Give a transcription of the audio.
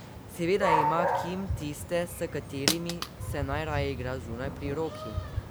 Seveda ima Kim tiste, s katerimi se najraje igra, zunaj, pri roki.